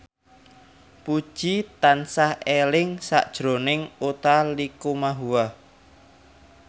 Puji tansah eling sakjroning Utha Likumahua